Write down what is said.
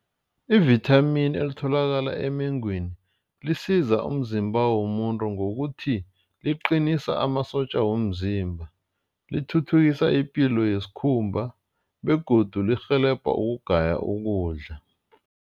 Ivithamini elitholakala emengweni lisiza umzimba womuntu ngokuthi liqinisa amasotja womzimba. Lithuthukisa ipilo yesikhumba begodu lirhelebha ukugaya ukudla.